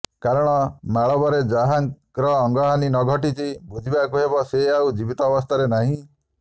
କାରଣ ମାଳବରେ ଯାହାର ଅଙ୍ଗହାନି ନ ଘଟିଚି ବୁଝିବାକୁ ହେବ ସେ ଆଉ ଜୀବିତାବସ୍ଥାରେ ନାହିଁ